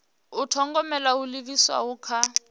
u thogomela ho livhiswaho kha